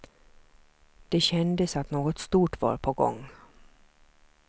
Det kändes att något stort var på gång.